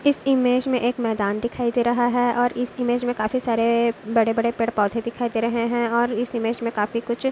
इस इमेज में एक मैदान दिखाई दे रहा हैं और इस इमेज में काफी सारे बड़े बड़े पेड़ पौधे दिखाई दे रहे हैं और इस इमेज में काफी कुछ--